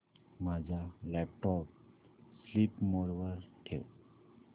माझा laptop sleep mode वर ठेव